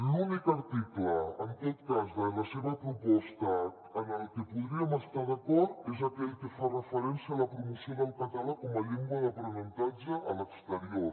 l’únic article en tot cas de la seva proposta en què podríem estar d’acord és aquell que fa referència a la promoció del català com a llengua d’aprenentatge a l’exterior